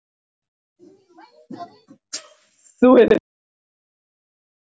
Þú hefur svikið besta vin þinn.